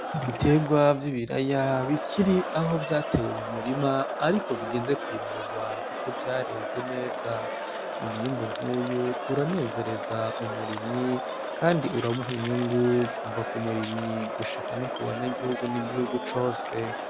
Ibiterwa vy'ibiraya bikiri aho vyatewe mu murima, ariko bigeze kwimburwa, kuko vyareze neza. Umwimbu nk'uyu uranezereza umurimyi, kandi uramuha inyungu kuva ku murimyi gushika no ku banyagihugu n'igihugu cose.